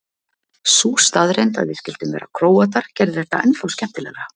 Sú staðreynd að við skyldum vera Króatar gerði þetta ennþá skemmtilegra.